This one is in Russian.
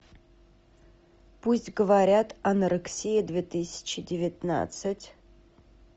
пусть говорят анорексия две тысячи девятнадцать